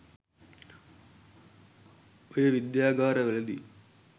ඔය විද්‍යාගාර වලදි